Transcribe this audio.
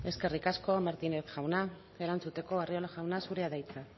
eskerrik asko martínez jauna erantzuteko arriola jauna zurea da hitza